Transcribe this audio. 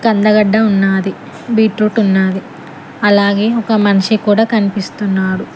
కందగడ్డ ఉన్నది బీట్రూట్ ఉన్నది అలాగే ఒక మనిషి కూడా కనిపిస్తున్నాడు.